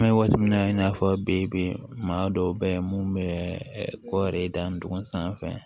An bɛ waati min na i n'a fɔ bi maa dɔw bɛ yen mun bɛ kɔɔri dandugun sanfɛ